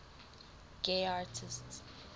gay artists